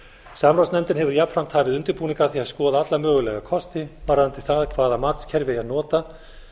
samráðsnefndin hefur jafnframt hafið undirbúning að því að skoða alla mögulega kosti varðandi það hvaða matskerfi er notað